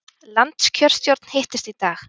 Landskjörstjórn hittist í dag